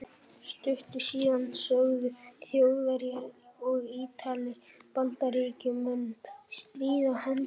Stuttu síðar sögðu Þjóðverjar og Ítalir Bandaríkjamönnum stríð á hendur.